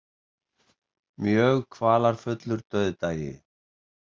Mjög kvalafullur dauðdagi.